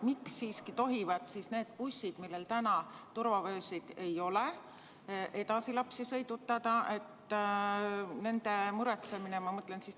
Miks siiski tohivad need bussid, millel turvavöösid ei ole, lapsi edasi sõidutada?